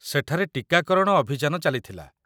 ସେଠାରେ ଟୀକାକରଣ ଅଭିଯାନ ଚାଲିଥିଲା।